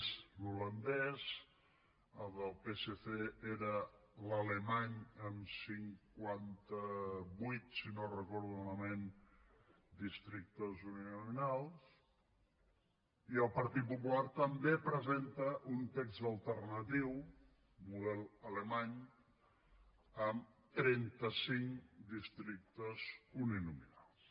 és l’holandès el del psc era l’alemany amb cinquanta vuit si no ho recordo malament districtes uninominals i el partit popular també presenta un text alternatiu model alemany amb trenta cinc districtes uninominals